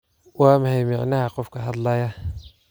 Waa maxay macnaha qofka hadlaya?